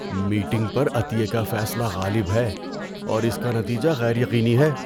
Meeting پر عطیے کا فیصلہ غالب ہے اور اس کا نتیجہ غیر یقینی ہے۔